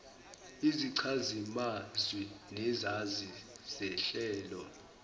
izichazimazwi nezazi zehlelo